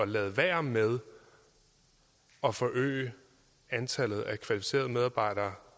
lade være med at forøge antallet af kvalificerede medarbejdere